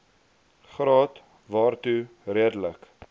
graad waartoe redelike